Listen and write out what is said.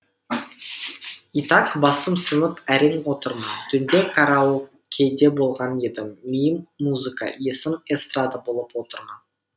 и так басым сынып әрең отырмын түнде караокеде болған едім миым музыка есім эстрада болып отырмын